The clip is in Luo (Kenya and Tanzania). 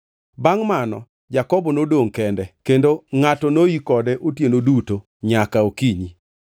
Bangʼ mano Jakobo nodongʼ kende, kendo ngʼato noi kode otieno duto nyaka okinyi.